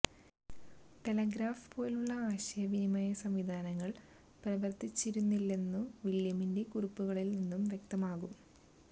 telegraph പോലുള്ള ആശയവിനിമയം സംവിധാനങ്ങള് പ്രവര്ത്തിച്ചിരുന്നില്ലെന്നു വില്യമിന്റെ കുറിപ്പുകളില് നിന്ന് വ്യക്തമാകും